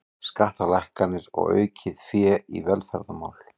Skattalækkanir og aukið fé í velferðarmál